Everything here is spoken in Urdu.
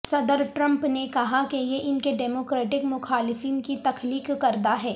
صدر ٹرمپ نے کہا کہ یہ ان کے ڈیمو کریٹک مخالفین کی تخلیق کردہ ہیں